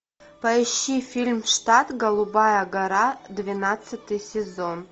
поищи фильм штат голубая гора двенадцатый сезон